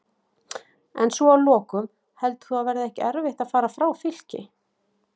En svo að lokum, heldur þú að það verði ekki erfitt að fara frá Fylki?